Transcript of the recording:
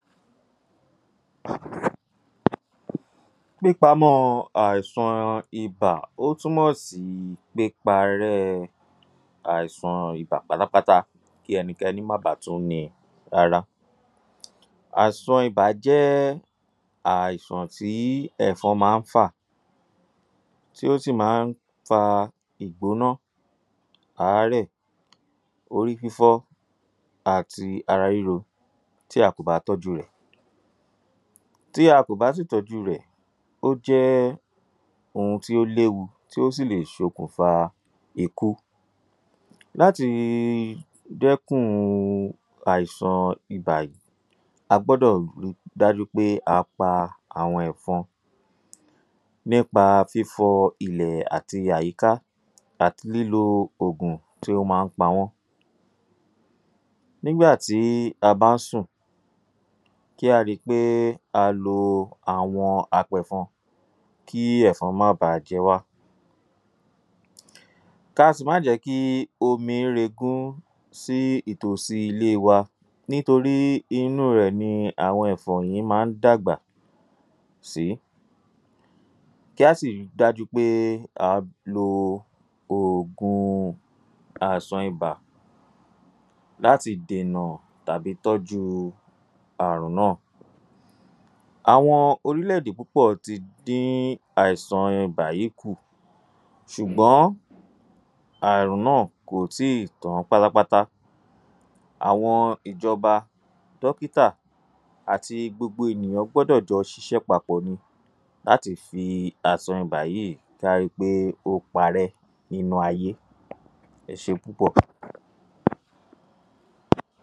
﻿ÀÌSÀN IBÀ Ìpamọ́ àìsàn ibà, ó túmọ̀ sí píparẹ́ àìsàn ibà pátápátá kí ẹnikẹni má baà tún ní í rárá. Àìsàn ibà jẹ́ àìsàn tí ẹ̀fọn máa ń fà, tí ó sì máa ń fà ìgbóná, àárẹ̀, orí fífọ́ àti ara ríro tí a kò bá tọ́jú rẹ̀. Tí a kò bá sì tọ́jú rẹ̀, ó jẹ́ ohun tí ó léwu, tí ó sì lè fa ikú. Láti dẹ́kun àìsàn ibà, a gbe rí ì dájú oé a pa àwọn ẹ̀fọn nípa fifọ ik loàti àyíká àti kílo òògùn tí ó máa ń pa wọ́n. Nígbà tí a bá sùn, kí á rí ì pé a kò àwọ̀n apẹ̀fọn kí ẹ̀fọn má baà jẹ wá. Kí a sì má a jí omi rigún sí àyíká ilé wa nítorí nínú rẹ ní ẹ̀fọn máa ń dàgbà sí. Kí á sì rí i dájú pé a ń lo òògùn àìsàn ibà láti dènà ràbí tọ́jú àìsàn náà. Àwọn orílẹ̀-èdè púpọ̀ tí dín àísàn ibà kǔ ßùgbọ́n àrùn náà kò tí ì tán pátápátá. Àwọn ìjọba, dókítà àti gbogbo ènìyàn gbọ́dọ̀ ṣiṣẹ́ papọ̀ ni láti rí í pé àìsàn yìí pari nínú ayé. Ẹ ṣe púpọ̀.